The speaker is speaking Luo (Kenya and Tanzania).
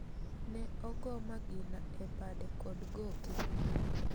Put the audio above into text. Ne ogoo magina e bade kod goke.